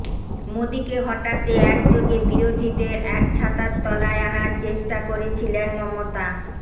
মোদীকে হটাতে একযোগে বিরোধীদের এক ছাতার তলায় আনার চেষ্টা করেছিলেন মমতা